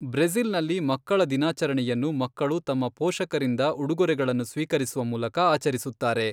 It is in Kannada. ಬ್ರೆಜಿ಼ಲ್ನಲ್ಲಿ, ಮಕ್ಕಳ ದಿನಾಚರಣೆಯನ್ನು ಮಕ್ಕಳು ತಮ್ಮ ಪೋಷಕರಿಂದ ಉಡುಗೊರೆಗಳನ್ನು ಸ್ವೀಕರಿಸುವ ಮೂಲಕ ಆಚರಿಸುತ್ತಾರೆ.